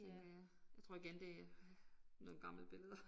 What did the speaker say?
Tænker jeg. Jeg tror igen det nogle gamle billeder